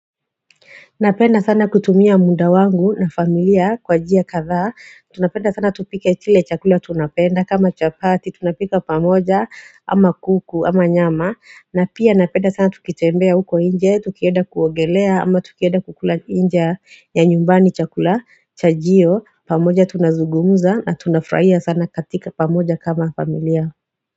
Napenda sana kutumia muda wangu na familia kwa njia kathaa Tunapenda sana tupike kile chakula tunapenda kama chapati tunapika pamoja ama kuku ama nyama na pia napenda sana tukitembea uko nje, tukieda kuogelea ama tukieda kukula nje ya nyumbani chakula chajio pamoja tunazungumuza na tunafurahia sana katika pamoja kama familia.